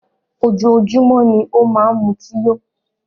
Ojoójúmọ́ ni ó máa n mutí yó.